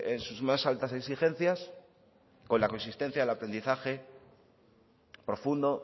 en sus más altas exigencias o la coexistencia del aprendizaje profundo